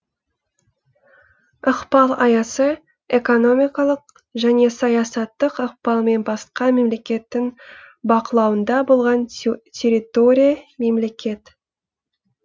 ықпал аясы экономикалық және саясаттық ықпал мен басқа мемлекеттің бақылауында болған территория мемлекет